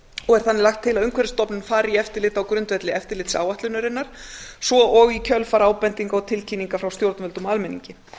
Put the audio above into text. og er þannig er lagt til að umhverfisstofnun fari í eftirlit á grundvelli eftirlitsáætlunarinnar svo og í kjölfar ábendinga og tilkynninga frá stjórnvöldum og almenningi